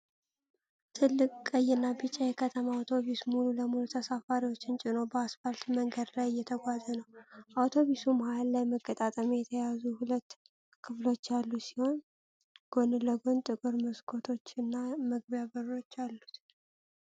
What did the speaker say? ትልቅ ቀይና ቢጫ የከተማ አውቶቡስ ሙሉ ለሙሉ ተሳፋሪዎችን ጭኖ በአስፓልት መንገድ ላይ እየተጓዘ ነው። አውቶቡሱ መሃል ላይ በመገጣጠሚያ የተያያዙ ሁለት ክፍሎች ያሉት ሲሆን፣ ጎን ለጎን ጥቁር መስኮቶች እና መግቢያ በሮች አሉት።